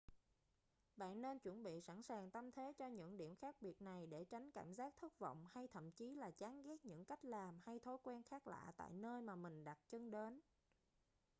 bạn nên chuẩn bị sẵn sàng tâm thế cho những điểm khác biệt này để tránh cảm giác thất vọng hay thậm chí là chán ghét những cách làm hay thói quen khác lạ tại nơi mà mình đặt chân đến